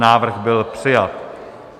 Návrh byl přijat.